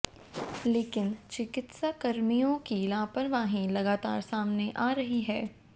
लेकिन चिकित्साकर्मियों की लापरवाही लगातार सामने आ रही है